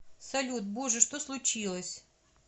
салют боже что случилось